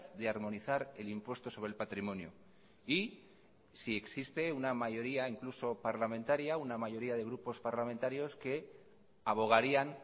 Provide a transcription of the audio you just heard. de armonizar el impuesto sobre el patrimonio y si existe una mayoría incluso parlamentaria una mayoría de grupos parlamentarios que abogarían